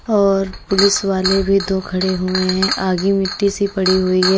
और पुलिस वाले भी दो खड़े हुए हैं आगे मिट्टी सी पड़ी हुई है।